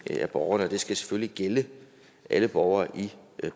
af borgerne det skal selvfølgelig gælde alle borgere i